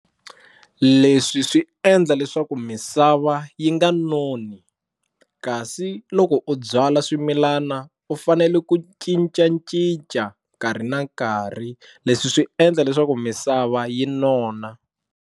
Leswi swi endla leswaku misava yi nga noni kasi loko u byala swimilana u fanele ku cincacinca nkarhi na nkarhi leswi swi endla leswaku misava yi nona.